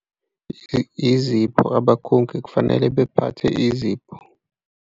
Izipho abakhongi kufanele bephathe izipho.